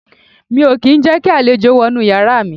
Mi ò kí ń jẹ́ kí àlejò wọ inú yàrá mi